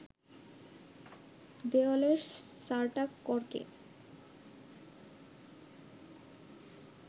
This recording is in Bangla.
দেয়ালের সাঁটা কর্কে